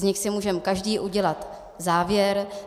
Z nich si můžeme každý udělat závěr.